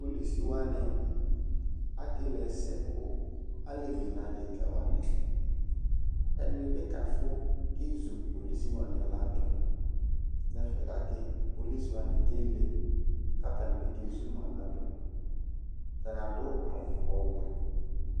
Polisi wanɩ akele ɛsɛ ka alevi nʋ adekǝ wanɩ Ɛdɩnɩ bɩ kafʋ kezu polisi wanɩ ladʋ nʋ ɛfɛ gake polisi wanɩ kele kʋ atanɩ bɩ kezu ma ladʋ Atanɩ adʋ awʋ ɔwɛ